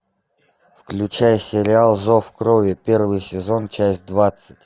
включай сериал зов крови первый сезон часть двадцать